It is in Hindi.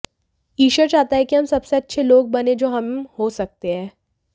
ईश्वर चाहता है कि हम सबसे अच्छे लोग बनें जो हम हो सकते हैं